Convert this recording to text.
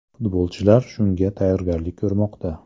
Futbolchilar shunga tayyorgarlik ko‘rmoqda.